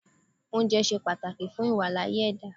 Oúnjẹ ṣe pàtàkì fún ìWàláàyè ẹ̀dá